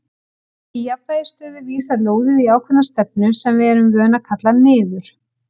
Í jafnvægisstöðu vísar lóðið í ákveðna stefnu sem við erum vön að kalla niður.